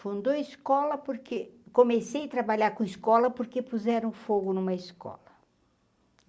Fundou a escola porque comecei a trabalhar com a escola porque puseram fogo numa escola.